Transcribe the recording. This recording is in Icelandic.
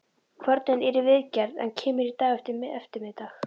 Kvörnin er í viðgerð en kemur í dag eftirmiðdag.